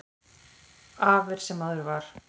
Af er sem áður var.